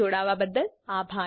જોડાવા બદ્દલ આભાર